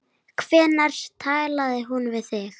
Hvenær talaði hún við þig?